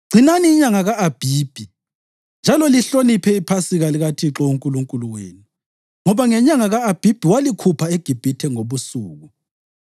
“Gcinani inyanga ka-Abhibhi njalo lihloniphe iPhasika likaThixo uNkulunkulu wenu, ngoba ngenyanga ka-Abhibhi walikhupha eGibhithe ngobusuku.